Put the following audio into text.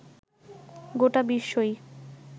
গোটা বিশ্বই